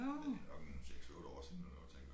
Men det nok en 6 8 år siden eller noget tænker jeg